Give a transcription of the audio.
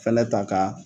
Fɛnɛ ta ka